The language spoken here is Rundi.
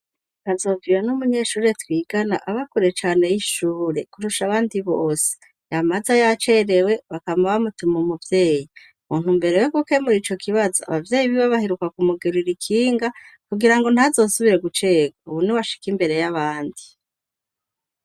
Kazoviyo n'umunyeshure twigana aba kure cane y'ishure kurusha abandi bose yamaza yacerewe bakama ba mutuma umuvyeyi. Mu ntumbero yo gukemura ico kibazo abavyeyi biwe baheruka kumugurira ikinga kugira ngo ntazosubire gucerwa, ubu niwe ashika imbere y'abandi.